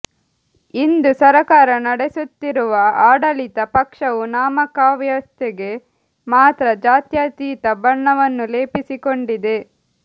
ಇಂದು ಸರಕಾರ ನಡೆಸುತ್ತಿರುವ ಆಡಳಿತ ಪಕ್ಷವು ನಾಮಕಾವಸ್ಥೆಗೆ ಮಾತ್ರ ಜಾತ್ಯತೀತ ಬಣ್ಣವನ್ನು ಲೇಪಿಸಿಕೊಂಡಿದೆ